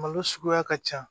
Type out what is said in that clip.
Malo suguya ka ca